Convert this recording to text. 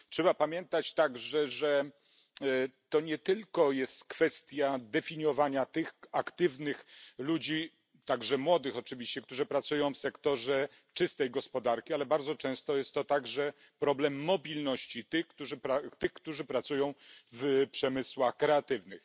Trzeba pamiętać także, że to nie tylko jest kwestia definiowania tych aktywnych ludzi, także młodych oczywiście, którzy pracują w sektorze czystej gospodarki, ale bardzo często jest to także problem mobilności tych, którzy pracują w przemysłach kreatywnych.